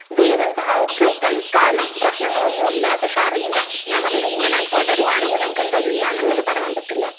ദൈവം സഹായിച്ച് തൽക്കാലം പ്രശ്നങ്ങളൊന്നും ഇല്ല, പക്ഷെ അറിയില്ല ഞാൻ പറഞ്ഞില്ലേ ഇങ്ങനെ തൊടരുവാണെങ്കി നമുക്ക് എന്താ ചെയ്യാന്നുള്ളത് പറയാൻ പറ്റില്ല.